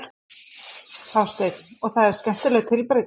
Hafsteinn: Og það er skemmtileg tilbreyting?